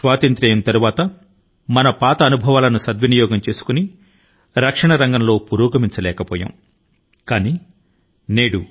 స్వాతంత్య్రం తరువాత మన ముందు అనుభవాన్ని పరిగణన లోకి తీసుకొని రక్షణ రంగం లో తగిన కృషి ని జరపవలసి ఉంది అయితే ఆ ప్రయత్నాల ను మనం చేయలేదు